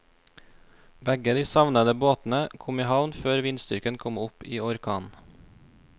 Begge de savnede båtene kom i havn før vindstyrken kom opp i orkan.